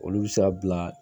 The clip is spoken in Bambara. Olu bɛ se ka bila